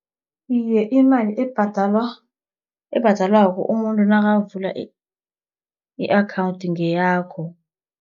Iye, imali ebhadalwako, umuntu nakavula i-akhawunthi ngeyakho.